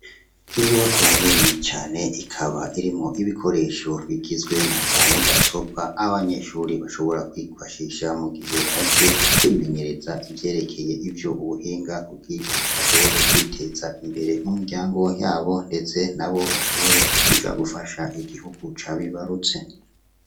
Inyubakwa nini cane, ikaba irimwo ibikoresho bigizwe n'aza mudasobwa, abanyeshure bashobora kwifashisha mu gihe baje kwimenyereza ivyerekeye ivyo ubuhinga kugira bashobore kwiteza imbere mu miryango ndetse n'abo bashobore kuja gufasha igihugu cabibarutse.